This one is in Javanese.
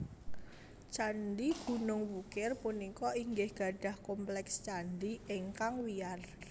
Candhi Gunung Wukir punika inggih gadhah kompleks candhi ingkang wiyar